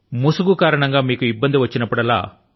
mask కారణం గా మీకు ఇబ్బంది ఎదురైనప్పుడల్లా